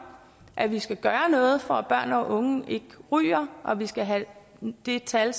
at vi skal gøre noget for at børn og unge ikke ryger og at vi skal have det tal